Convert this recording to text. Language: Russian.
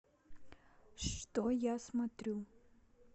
что я смотрю